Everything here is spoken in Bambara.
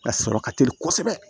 A sɔrɔ ka teli kosɛbɛ